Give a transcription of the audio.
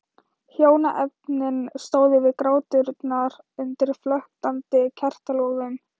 Hjónaefnin stóðu við gráturnar undir flöktandi kertalogum.